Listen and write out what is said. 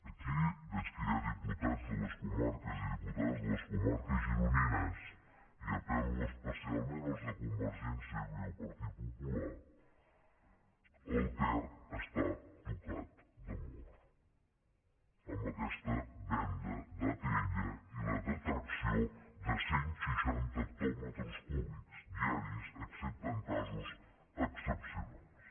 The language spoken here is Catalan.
aquí veig que hi ha diputats i diputades de les comarques gironines i apello especialment als de convergència i el partit popular el ter està tocat de mort amb aquesta venda d’atll i la detracció de cent seixanta hectòmetres cúbics diaris excepte en casos excepcionals